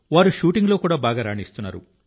వారు షూటింగ్లో బాగా రాణిస్తున్నారు